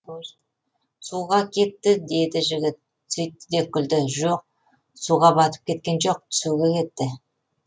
суға кетті деді жігіт сөйтті де күлді жоқ суға батып кеткен жоқ түсуге кетті